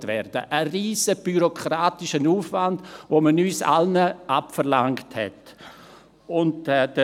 Dies bedeutete einen riesigen bürokratischen Aufwand, den man uns allen abverlangte.